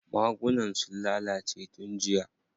Magunan sun lalace tun jiya.